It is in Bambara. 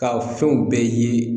Ka fɛnw bɛɛ ye